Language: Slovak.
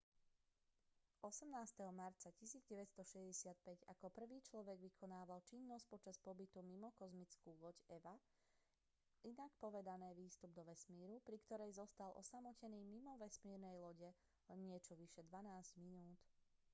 18. marca 1965 ako prvý človek vykonával činnosť počas pobytu mimo kozmickú loď eva inak povedané výstup do vesmíru pri ktorej zostal osamotený mimo vesmírnej lode len niečo vyše dvanásť minút